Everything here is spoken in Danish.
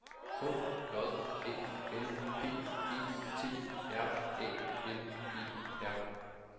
H J Æ L P E T R Æ N E R